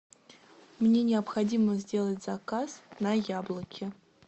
мне необходимо сделать заказ на яблоки